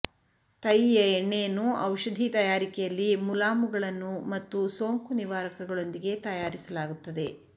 ತೈಯಿಯ ಎಣ್ಣೆಯನ್ನು ಔಷಧಿ ತಯಾರಿಕೆಯಲ್ಲಿ ಮುಲಾಮುಗಳನ್ನು ಮತ್ತು ಸೋಂಕು ನಿವಾರಕಗಳೊಂದಿಗೆ ತಯಾರಿಸಲಾಗುತ್ತದೆ